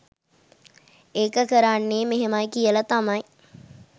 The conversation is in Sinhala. ඒක කරන්නේ මෙහෙමයි කියල තමයි